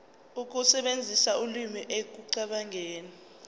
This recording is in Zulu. ukusebenzisa ulimi ekucabangeni